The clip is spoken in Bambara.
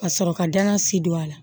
Ka sɔrɔ ka danna sidon a la